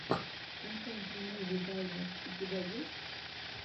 инфэнтримуви даймир у тебя есть